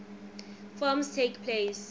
forms takes place